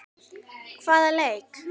Hvaða leik?